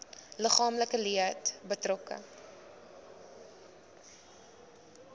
liggaamlike leed betrokke